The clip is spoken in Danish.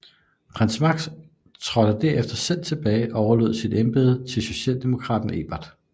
Prins Max trådte der efter selv tilbage og overlod sit embede til socialdemokraten Ebert